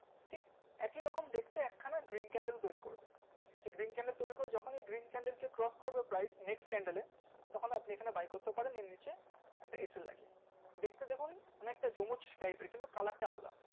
ঠিক একি রকম দেখতে এক খানা green candle তৈরি করবে ঠিক আছে green candle তৈরি করে যখনি green candle কে cross করবে price next candle এ তখন আপনি এই খানে buy করতে পারেন এর নিচে একটা লাগিয়ে দেখতে দেখুন অনেকটা জমুজ type এর কিন্তু color টা আলাদা